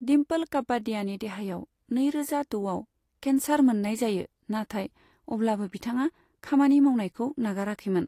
दिम्पोल कापाडियानि देहायाव नैरोजा द'आव केन्सार मोननाय जायो, नाथाय अब्लाबो बिथाङा खामानि मावनायखौ नागाराखैमोन।